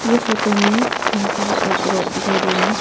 ये फोटो में हमको एक रोड दिखाई दे रहा है।